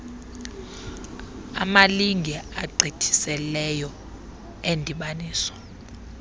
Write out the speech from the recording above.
amalinge agqithiseleyo endibaniso